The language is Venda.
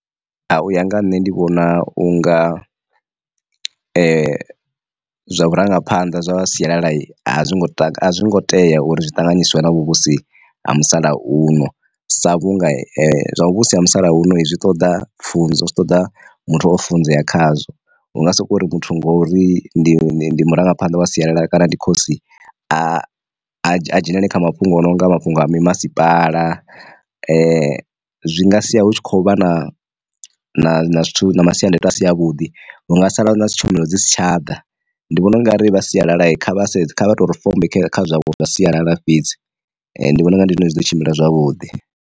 U ya nga ha nṋe ndi vhona unga zwa vhurangaphanḓa zwa siyalala a zwi ngo tou a zwi ngo tea uri zwi ṱanganyiswa na vhu vhusi ha musalauno, sa vhunga zwa muvhuso ha musalauno zwi ṱoḓa pfunzo zwi ṱoḓa muthu o funzea khazwo. Hunga soko uri muthu ngori ndi murangaphanḓa wa sialala kana ndi khosi a dzhenele kha mafhungo o no nga mafhungo a mi masipala zwi nga sia hu tshi khou vha na na na zwithu na masiandoitwa a si a vhuḓi vhunga sala na si tshomelo dzi si tsha ḓa. Ndi vhona ungari vha sialala kha vha sedze kha vha tori fombe kha zwavho zwa sialala fhedzi, ndi vhona unga ndi zwone zwi ḓo tshimbila zwavhuḓi.